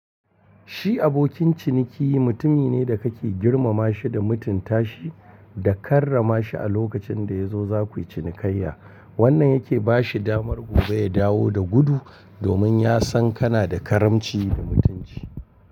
Shi abokin ciniki mutumi ne da kake girmama shi da mutunci tashi da karrama shi a lokacin da ya zo za ku yi cinikayya. Wannan yake ba shi damar gobe ya dawo da gudu domin ya san kana da karamci da mutunci.